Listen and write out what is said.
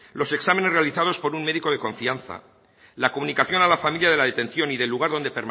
los exámenes realizados por un médico de confianza la comunicación a la familia de la detención y del lugar donde